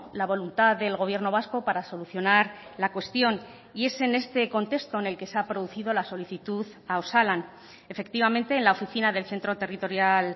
la voluntad del gobierno vasco para solucionar la cuestión y es en este contexto en el que se ha producido la solicitud a osalan efectivamente en la oficina del centro territorial